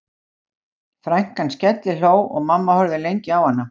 Frænkan skellihló og mamma horfði lengi á hana